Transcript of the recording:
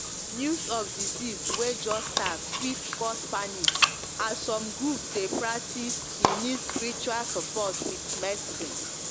news of disease way just start fit cause panic as some group dey practice e need spiritual support with medicine.